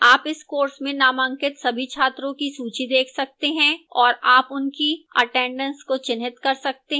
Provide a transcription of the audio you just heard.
आप इस course में नामांकित सभी छात्रों की सूची देख सकते हैं और आप उनकी attendance को चिह्नित कर सकते हैं